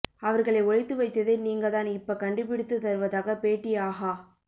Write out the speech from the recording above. அவர்களை ஒளித்து வைத்ததே நீங்க தான் இப்ப கண்டுபிடித்து தருவதாக பேட்டி ஆஹா